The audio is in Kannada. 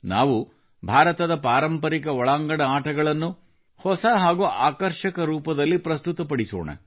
ನಾವು ಭಾರತದ ಪಾರಂಪರಿಕ ಒಳಾಂಗಣ ಆಟಗಳನ್ನು ಹೊಸ ಹಾಗೂ ಆಕರ್ಷಕ ರೂಪದಲ್ಲಿ ಪ್ರಸ್ತುತಪಡಿಸೋಣ